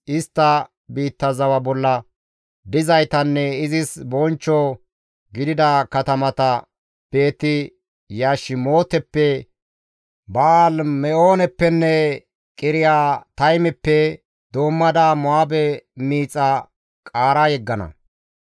istta biitta zawa bolla dizaytanne izis bonchcho gidida katamata Beeti-Yashimooteppe, Ba7aali-Me7ooneppenne Qiriyaataymeppe doommada Mo7aabe miixa qaara yeggana.